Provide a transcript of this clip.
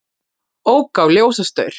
Ók á ljósastaur